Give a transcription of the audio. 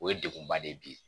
O ye degun ba de ye bi